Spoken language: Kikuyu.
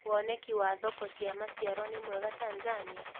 Woneki wa thoko cia maciaro nĩ mwega Tanzania?